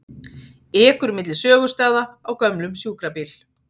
Ekur milli sögustaða á gömlum sjúkrabíl